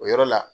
O yɔrɔ la